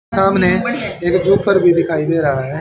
सामने एक जोतर भी दिखाई दे रह हैं।